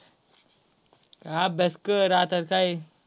अभ्यास कर आताच हे. काय